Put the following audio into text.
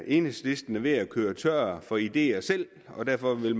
enhedslisten er ved at løbe tør for ideer selv og derfor vil